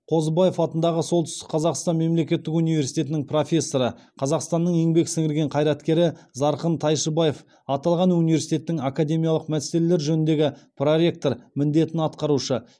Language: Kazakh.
қозыбаев атындағы солтүстік қазақстан мемлекеттік университетінің профессоры қазақстанның еңбек сіңірген қайраткері зарқын тайшыбаев аталған университеттің академиялық мәселелер жөніндегі проректор міндетін атқарушы